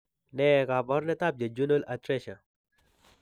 Ne kaabarunetap Jejunal atresia?